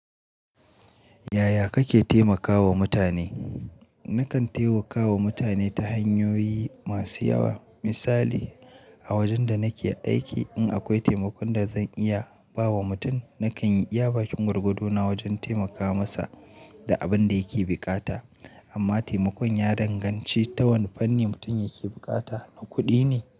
Yaya kake taimakawa mutane? Nakan taimakawa mutane ta hanyoyi masu yawa. Misali, a wajen da nake aiki in akwai taimakon da zan iya ba wa mutum, nakan yi iya bakin gwargwado na wajen taimaka masa da abin da yake buƙata. Amma taimakon ya danganci ta wane fanni mutum yake bukata. Na kuɗi ne?